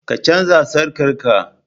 ka canza sarkar ka?